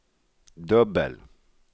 dubbel